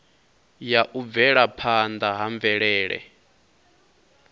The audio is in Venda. ya u bvelaphanda ha mvelele